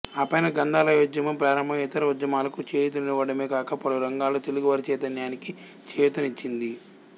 ఆపైన గ్రంథాలయోద్యమం ప్రారంభమై ఇతర ఉద్యమాలకు చేయూతనివ్వడమే కాక పలు రంగాల్లో తెలుగువారి చైతన్యానికి చేయూతనిచ్చింది